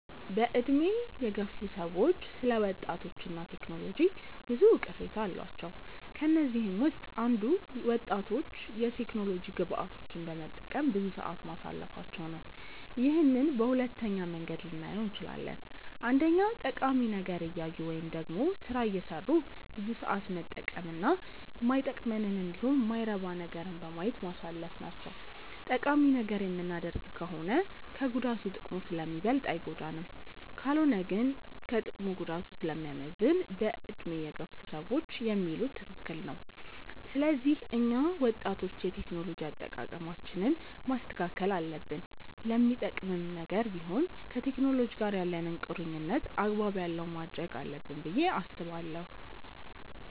በዕድሜ የገፉ ሰዎች ስለ ወጣቶች እና ቴክኖሎጂ ብዙ ቅሬታዎች አሏቸው። ከነዚህም ውስጥ አንዱ ወጣቶች የቴክኖሎጂ ግብአቶችን በመጠቀም ብዙ ሰዓት ማሳለፋቸው ነው። ይህንን በሁለት መንገድ ልናየው እንችላለን። አንደኛ ጠቃሚ ነገር እያዩ ወይም ደግሞ ስራ እየሰሩ ብዙ ሰዓት መጠቀም እና ማይጠቅመንንን እንዲሁም የማይረባ ነገርን በማየት ማሳለፍ ናቸው። ጠቃሚ ነገር የምናደርግ ከሆነ ከጉዳቱ ጥቅሙ ስለሚበልጥ አይጎዳንም። ካልሆነ ግን ከጥቅሙ ጉዳቱ ስለሚያመዝን በዕድሜ የገፉ ሰዎች የሚሉት ትክክል ነው። ስለዚህ እኛ ወጣቶች የቴክኖሎጂ አጠቃቀማችንን ማስተካከል አለብን። ለሚጠቅምም ነገር ቢሆን ከቴክኖሎጂ ጋር ያለንን ቁርኝነት አግባብ ያለው ማድረግ አለብን ብዬ አስባለሁ።